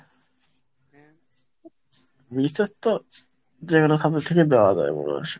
BCS তো যেকোনো subject থেকেই দেওয়া যায় মনে হয়।